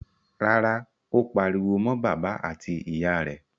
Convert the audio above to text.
Rárá, ó pariwo mọ́ bàbá àti ìyà rẹ̀.